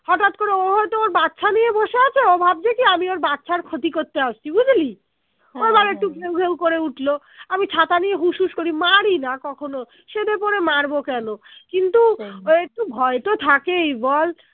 হটাৎ করে ও হয়তো ওর বাচ্ছা নিয়ে বসে আছে ও ভাবছে কি আমি ওর বাচ্ছার ক্ষতি করতে আসছি বুঝলি ঘেউ ঘেউ উঠলো আমি ছাতা নিয়ে হুস হুস করি মারিনা কখনো সেধে পরে মারবো কেন কিন্তু ওই একটু ভয় তো থাকেই বল